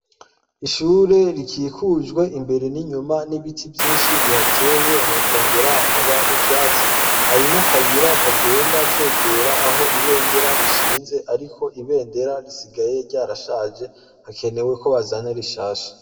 Ishure rikikujwe imbere n'inyuma n'ibiti vyinshi bihateye hakongera hakaba n'ivyatsi, hari n'akayira kagenda kegera aho ibendera rishinze ariko ibendera risigaye ryarashaje hakenewe, ko bazana rishaha.